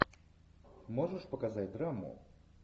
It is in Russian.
можешь показать драму